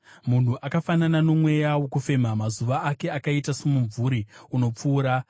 Munhu akafanana nomweya wokufema; mazuva ake akaita somumvuri unopfuura.